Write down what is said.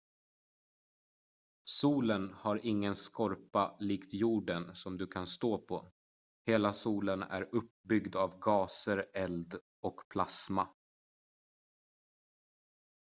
solen har ingen skorpa likt jorden som du kan stå på hela solen är uppbyggd av gaser eld och plasma